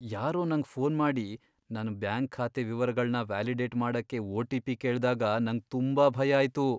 ಯಾರೋ ನಂಗ್ ಫೋನ್ ಮಾಡಿ ನನ್ ಬ್ಯಾಂಕ್ ಖಾತೆ ವಿವರಗಳ್ನ ವ್ಯಾಲಿಡೇಟ್ ಮಾಡಕ್ಕೆ ಒ.ಟಿ.ಪಿ. ಕೇಳ್ದಾಗ ನಂಗ್ ತುಂಬಾ ಭಯ ಆಯ್ತು.